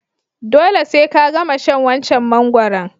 Dole se ka gama shan wancan mangoron.